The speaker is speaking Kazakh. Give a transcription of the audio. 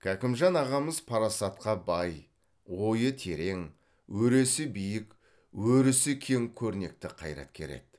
кәкімжан ағамыз парасатқа бай ойы терең өресі биік өрісі кең көрнекті қайраткер еді